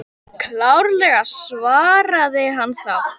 Klárlega, svaraði hann þá.